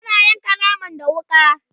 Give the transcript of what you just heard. tana yanka naman da wuƙa